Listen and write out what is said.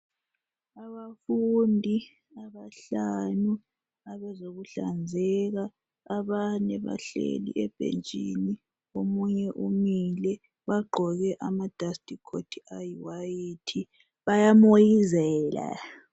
Abafundi abahlanu abezokuhlanzeka . Abanye bahleli ebhentshini omunye umile . Bagqoke amadustcoat ayiwhite bayamoyizela .